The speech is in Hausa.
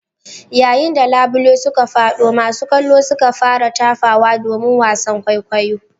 Yayin da labule suka fado masu kallo suka fara tafawa domin wasan kwaikwayo.